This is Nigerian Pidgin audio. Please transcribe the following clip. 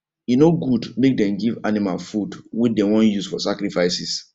e no good make dem give animal food wey dem wan use for sacrifices